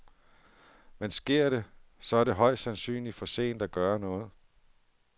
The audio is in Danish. Men sker det, så er det højst sandsynligt for sent at gøre noget.